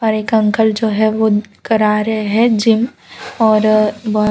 एक अंकल जो है वो करा रहे हैं जिम और बहोत --